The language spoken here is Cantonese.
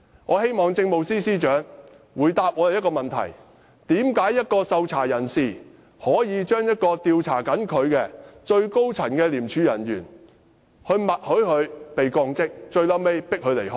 我希望政務司司長回答我們一個問題：為何一名受調查人可以默許正在調查他的廉署最高層人員降職，最後迫使她離職？